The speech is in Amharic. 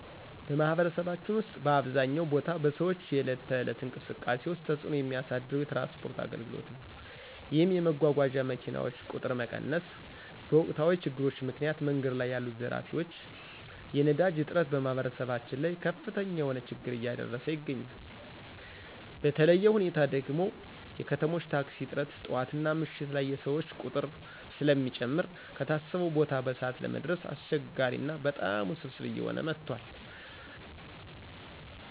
በማህበረሰባችን ውስጥ በአብዛኛው ቦታ በሰዎች የዕለት ተዕለት እንቅስቃሴ ውስጥ ተፅዕኖ የሚያሳድረው የትራንስፖርት አገልግሎት ነዉ። ይህም የመጓጓዣ መኪናዎች ቁጥር መቀነስ፣ በወቅታዊ ችግሮች ምክንያት መንገድ ላይ ያሉ ዘራፊዎች፣ የነዳጅ እጥረት በማህበረሰባችን ላይ ከፍተኛ የሆነ ችግር እያደረሰ ይገኛል። በተለየ ሁኔታ ደግሞ የከተሞች ታክሲ እጥረት ጠዋትና ምሽት ላይ የሰዎች ቁጥር ስለሚጨምር ከታሰበው ቦታ በሰዓት ለመድረስ አስቸጋሪ ና በጣም ውስብስብ እየሆነ መጥቷል።